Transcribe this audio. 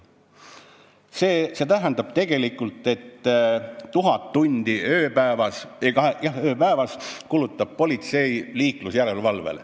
See tähendab, et 1000 tundi ööpäevas kulutab politsei liiklusjärelevalvele.